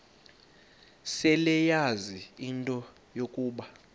seleyazi into yokuba